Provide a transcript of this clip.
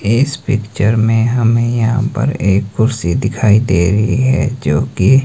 इस पिक्चर में हमें यहां पर एक कुर्सी दिखाई दे रही है जो की --